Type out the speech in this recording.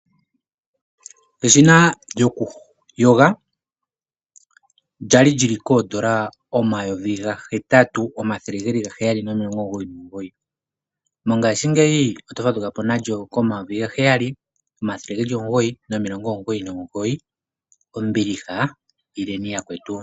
Eshina lyoku yoga lyali lyili koondola omayovi gahetatu omathele geli gaheyali nomilongo omugoyi nomugoyi mongashingeyi oto fadhukapo nalyo komayovi gaheyali omathele geli omugoyi nomilongo omugoyi nomugoyi ombiliha ileni yakwetu.